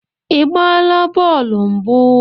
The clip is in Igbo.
Ị gbaa bọọlụ mbụ?